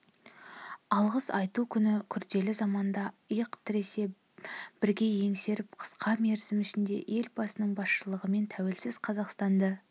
алғыс айту күні күрделі заманда иық тіресе бірге еңсеріп қысқа мерзім ішінде елбасының басшылығымен тәуелсіз қазақстанды